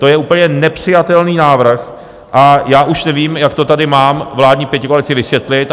To je úplně nepřijatelný návrh a já už nevím, jak to tady mámám vládní pětikoalici vysvětlit.